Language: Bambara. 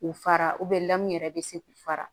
K'u fara lamu yɛrɛ be se k'u fara